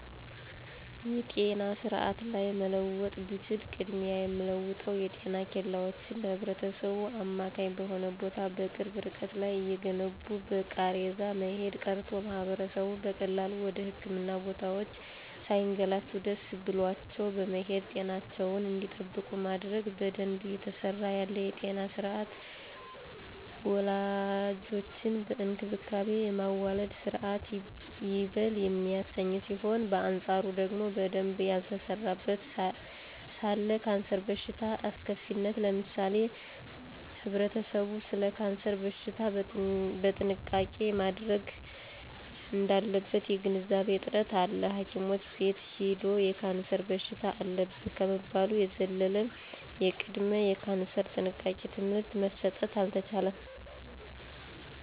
የጤና ስርአት ላይ መለወጥ ብችል ቅድሚያ የምለወጠው የጤና ኬላወችን ለህብረተሰቡ አማካኝ በሆነ ቦታ በቅርብ እርቀት ላይ እየገነቡ በቃሬዛ መሄድ ቀርቶ ማህበረሰቡ በቀላሉ ወደ ህክምና ቦታወች ሳይገላቱ ደሰ ብሏቸው በመሄድ ጤናቸውን እንዲጠብቁ ማድረግ። በደንብ እየተሰራ ያለ የጤና ስርአት ወላዶችን በእንክብካቤ የማዋለድ ስርአት ይበል የሚያሰኝ ሲሆን በአንጻሩ ደግሞ በደንብ ያልተሰራበት ስለ ካንሰር በሽታ አስከፊነት ለምሳሌ ህብረተሰቡ ሰለ ካንሰር በሽታ ጥንቃቄ ማድረግ እዳለበት የግንዛቤ እጥረት አለ ሀኪም ቤት ሂዶ የካንሰር በሽታ አለብህ ከመባል የዘለለ የቅድመ ካንሰር ጥንቃቄ ትምህርት መሰጠት አልተቻለም።